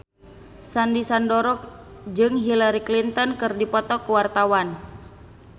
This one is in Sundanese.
Sandy Sandoro jeung Hillary Clinton keur dipoto ku wartawan